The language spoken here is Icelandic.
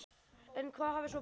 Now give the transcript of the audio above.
En hvað hafði svo breyst?